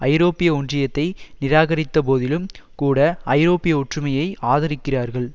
ஐரோப்பிய ஒன்றியத்தை நிராகரித்த போதிலும் கூட ஐரோப்பிய ஒற்றுமையை ஆதரிக்கிறார்கள்